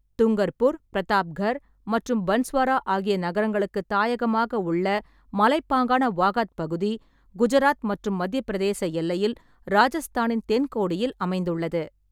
துங்கர்பூர், பிரதாப்கர் மற்றும் பன்ஸ்வாரா ஆகிய நகரங்களுக்கு தாயகமாக உள்ள மலைப்பாங்கான வாகத் பகுதி, குஜராத் மற்றும் மத்தியப் பிரதேச எல்லையில், ராஜஸ்தானின் தென்கோடியில் அமைந்துள்ளது.